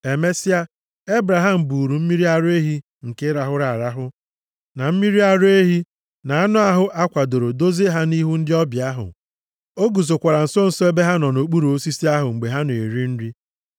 Emesịa, Ebraham buuru mmiri ara ehi nke rahụrụ arahụ, na mmiri ara ehi, na anụ ahụ a kwadoro dozie ha nʼihu ndị ọbịa ahụ. O guzokwara nso nso ebe ha nọ nʼokpuru osisi ahụ mgbe ha na-eri nri.